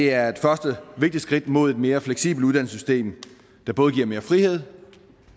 er et første vigtigt skridt mod et mere fleksibelt uddannelsessystem der både giver mere frihed